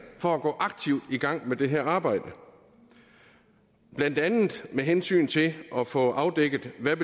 for at gå aktivt i gang med det her arbejde blandt andet med hensyn til at få afdækket hvad